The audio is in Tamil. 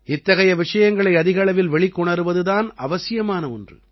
இத்தகைய விஷயங்களை அதிக அளவில் வெளிக்கொணருவது தான் அவசியமான ஒன்று